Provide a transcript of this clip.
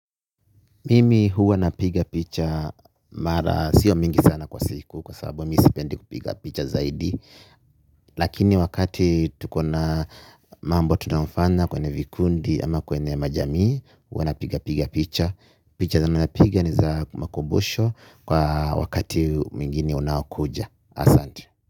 Mimi huwa napiga picha mara sio mingi sana kwa siku kwa sababu mi sipendi kupiga picha zaidi. Lakini wakati tuko na mambo tunafanya kwenye vikundi ama kwenye majamii. Huwa napiga piga picha. Picha zenye napiga ni za makumbusho kwa wakati mwingine unaokuja asante.